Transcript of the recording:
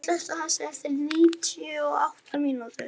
Naomí, slökktu á þessu eftir níutíu og átta mínútur.